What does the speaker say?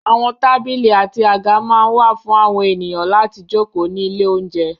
Àwọn tábìlì àti àga máa ń wà fún àwọn ènìyàn láti jókòó ní ilé-oúnjẹ.